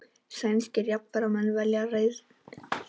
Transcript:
Sænskir jafnaðarmenn velja leiðtoga